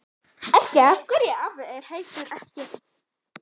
Ef ekki, AF HVERJU EKKI?